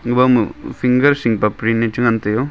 gabo ma finger shingpa print ne che ngan taiyo.